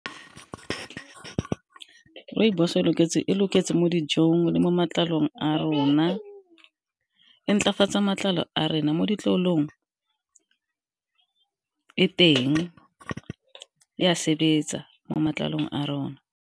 Rooibos e loketse mo dijong le mo matlalong a rona, e ntlafatsa matlalo a rena mo ditlolong e teng ya sebetsa mo matlalong a rona.